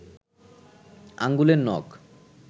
আঙুলের নখ